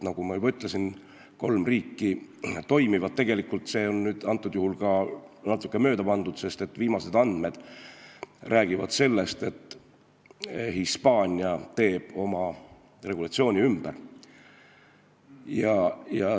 Nagu ma juba ütlesin, kolmes riigis see toimib, ehkki nendes asjades on ka natuke mööda pandud, sest viimased andmed räägivad sellest, et Hispaania teeb oma seadusi ümber.